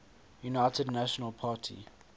united national party